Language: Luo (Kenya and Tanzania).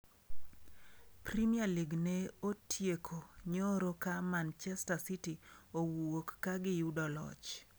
Premier League ne otieko nyoro ka Manchester City owuok ka giyudo loch.